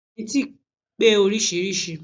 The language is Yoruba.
Sìmẹ́ntì pé oríṣiríṣìí